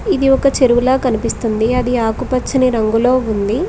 ఇది ఒక చెరువుల కనిపిస్తుంది అది ఆకుపచ్చని రంగులో ఉంది.